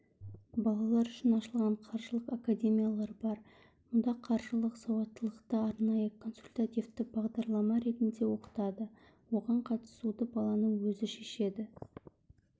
балалар үшін ашылған қаржылық академиялар бар мұнда қаржылық сауаттылықты арнайы консультативті бағдарлама ретінде оқытады оған қатысуды баланың өзі шешеді